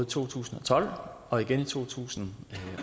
to tusind og tolv og igen i to tusind